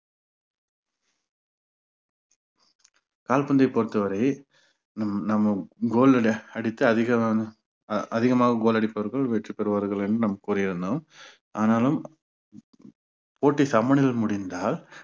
கால்பந்தை பொறுத்தவரை நம்~ நம்ம goal லுல அடித்து அதிகமான ஆஹ் அதிகமாக goal அடிப்பவர்கள் வெற்றி பெறுவார்கள் என்று நாம் கூறி இருந்தோம் ஆனாலும் போட்டி சமனில் முடிந்தால்